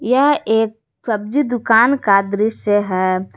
यह एक सब्जी दुकान का दृश्य है।